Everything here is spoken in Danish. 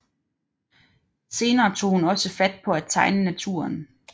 Senere tog hun også fat på at tegne naturen